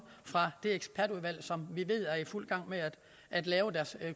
fra det ekspertudvalg som vi ved er i fuld gang med at lave deres